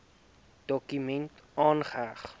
dokument aangeheg